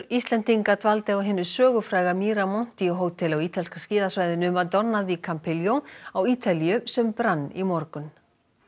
Íslendinga dvaldi á hinu sögufræga hóteli á ítalska skíðasvæðinu Madonna di Campiglio á Ítalíu sem brann í morgun